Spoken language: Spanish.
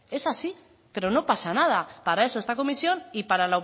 es así pero no pasa nada para eso esta comisión y para